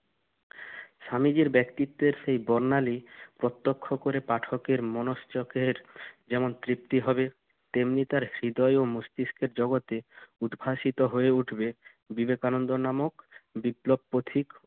স্বামীজির ব্যক্তিত্বের সেই বর্ণালি প্রত্যক্ষ করে পাঠকের মনশ্চাপের যেমন তৃপ্তি হবে তেমনি তার হৃদয় ও মস্তিষ্কের জগতে উদ্ভাসিত হয়ে উঠবে বিবেকানন্দ নামক বিপ্লব পথিক